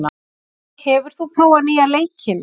Tobbi, hefur þú prófað nýja leikinn?